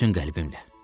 Bütün qəlbimlə.